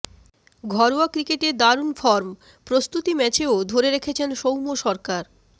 ঘরোয়া ক্রিকেটে দারুণ ফর্ম প্রস্তুতি ম্যাচেও ধরে রেখেছেন সৌম্য সরকার